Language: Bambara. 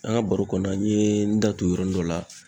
An ka baro kɔnɔ na, n ye n da tu yɔrɔ dɔ la